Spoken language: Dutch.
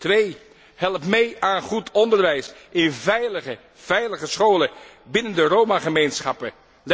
Twee help mee aan goed onderwijs in veilige, veilige scholen binnen de Roma gemeenschappen.